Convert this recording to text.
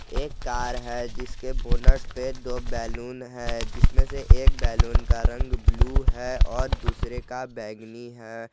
एक कार है जिसके बोनट पे दो बैलून है जिसमें से एक बैलून का रंग ब्लू है और दूसरे का बैगनी है।